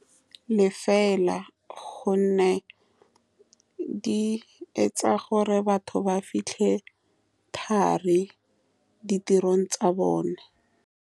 Le fela ka gonne di etsa gore batho ba fitlhe thari kwa ditirong tsa bone.